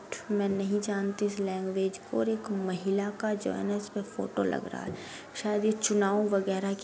मै नहीं जानती इस लैंग्वेज को और एक महिला का जो है ना इस पर फोटो लग रहा है। शायद यह चुनाव वगेरा की --